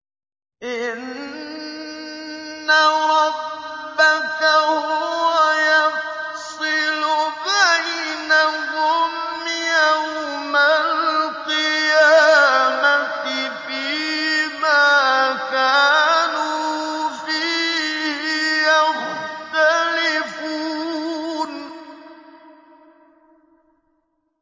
إِنَّ رَبَّكَ هُوَ يَفْصِلُ بَيْنَهُمْ يَوْمَ الْقِيَامَةِ فِيمَا كَانُوا فِيهِ يَخْتَلِفُونَ